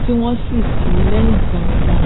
tí wọn sì tìí lẹhìn gbaingbain